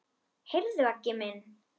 Heyrðu Aggi minn.